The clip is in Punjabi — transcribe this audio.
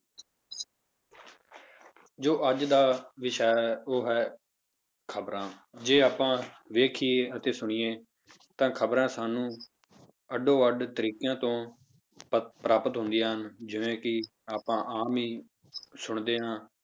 ਜੋ ਅੱਜ ਦਾ ਵਿਸ਼ਾ ਹੈ ਉਹ ਹੈ ਖ਼ਬਰਾਂ, ਜੇ ਆਪਾਂ ਵੇਖੀਏ ਅਤੇ ਸੁਣੀਏ ਤਾਂ ਖ਼ਬਰਾਂ ਸਾਨੂੰ ਅੱਡੋ ਅੱਡ ਤਰੀਕਿਆਂ ਤੋਂ ਪ~ ਪ੍ਰਾਪਤ ਹੁੰਦੀਆਂ ਹਨ, ਜਿਵੇਂ ਕਿ ਆਪਾਂ ਆਮ ਹੀ ਸੁਣਦੇ ਹਾਂ,